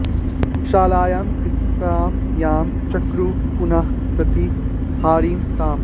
शालायां कृत्यां यां चक्रुः पुनः प्रति हरामि ताम्